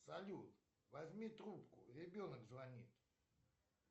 салют возьми трубку ребенок звонит